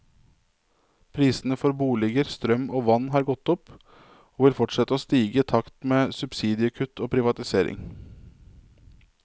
Prisene for boliger, strøm og vann har gått opp, og vil fortsette å stige i takt med subsidiekutt og privatisering.